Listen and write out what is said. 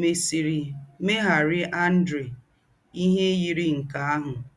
mésìrì mèghárị́ Àndréà íhè yírì̄ nkè àhụ́.